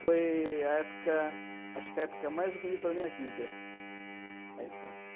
Foi a época, acho que a época mais bonita da minha vida, a infância.